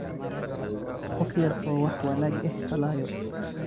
Qof yar oo wax wanag eh falayo.